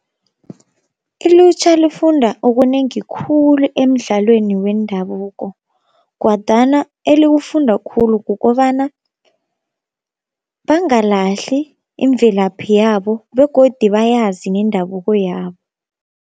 Ilutjha lifunda okunengi khulu emidlalweni wendabuko, kwadana eliwufunda khulu kukobana bangalahli imvelaphi yabo begodi bayazi nendabuko yabo.